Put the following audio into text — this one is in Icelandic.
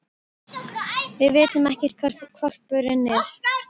Við vitum ekkert hvar hvolpurinn er.